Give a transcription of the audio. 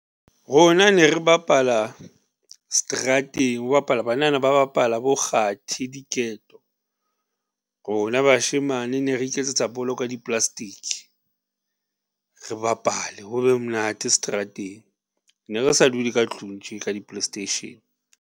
Rona ne re bapala strateng ho bapalwa, banana ba bapala bo kgathi diketo, rona bashemane ne re iketsetsa bolo ka di-plastic, re bapale ho be monate strateng, ne re sa dule ka tlung tje, ka di play station.